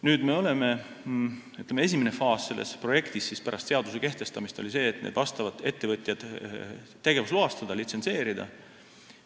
Nüüd, ütleme, esimene faas selles projektis pärast seaduse kehtestamist oli nende ettevõtjate tegevusloastamine, litsentsimine.